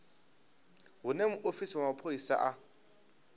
hune muofisi wa mapholisa a